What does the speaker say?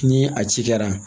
Ni a ci kɛra